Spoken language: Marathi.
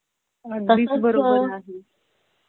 अगदी बरोबर आहे.